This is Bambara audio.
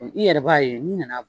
I yɛrɛ b'a ye n nana